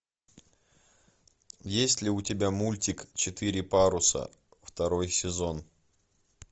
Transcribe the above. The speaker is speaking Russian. есть ли у тебя мультик четыре паруса второй сезон